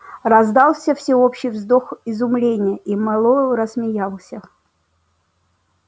раздался всеобщий вздох изумления и мэллоу рассмеялся